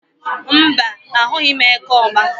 Mbá, ahụghị m eke ọ̀gba.